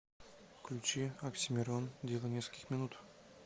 включи оксимирон дело нескольких минут